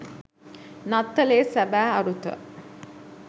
නත්තලේ සැබෑ අරුත